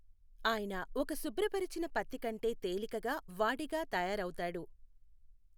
ఆయన ఒక శుభ్రపరిచిన పత్తి కంటే తేలికగా వాడిగా తయారవుతాడు.